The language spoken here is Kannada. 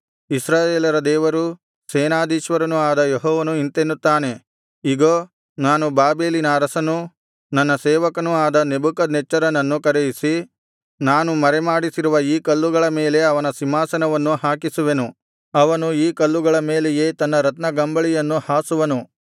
ಇಸ್ರಾಯೇಲರ ದೇವರೂ ಸೇನಾಧೀಶ್ವರನೂ ಆದ ಯೆಹೋವನು ಇಂತೆನ್ನುತ್ತಾನೆ ಇಗೋ ನಾನು ಬಾಬೆಲಿನ ಅರಸನೂ ನನ್ನ ಸೇವಕನೂ ಆದ ನೆಬೂಕದ್ನೆಚ್ಚರನನ್ನು ಕರೆಯಿಸಿ ನಾನು ಮರೆಮಾಡಿಸಿರುವ ಈ ಕಲ್ಲುಗಳ ಮೇಲೆ ಅವನ ಸಿಂಹಾಸನವನ್ನು ಹಾಕಿಸುವೆನು ಅವನು ಈ ಕಲ್ಲುಗಳ ಮೇಲೆಯೇ ತನ್ನ ರತ್ನಗಂಬಳಿಯನ್ನು ಹಾಸುವನು